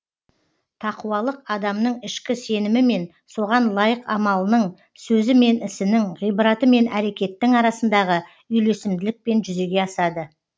тақуалық адамның ішкі сенімі мен соған лайық амалының сөзі мен ісінің ғибраты мен әрекеттің арасындағы үйлесімділікпен жүзеге асады